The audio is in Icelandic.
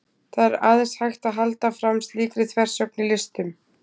það er aðeins hægt að halda fram slíkri þversögn í listum